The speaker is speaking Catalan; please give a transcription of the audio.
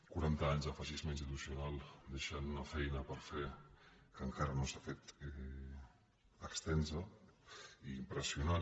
quaranta anys de feixisme institucional deixen una feina per fer que encara no s’ha fet extensa i impressionant